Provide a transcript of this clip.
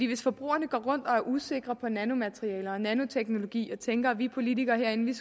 hvis forbrugerne går rundt og er usikre på nanomaterialer og nanoteknologi og tænker at vi politikere herinde